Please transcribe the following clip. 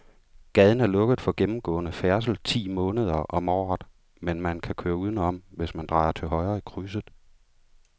Gaden er lukket for gennemgående færdsel ti måneder om året, men man kan køre udenom, hvis man drejer til højre i krydset.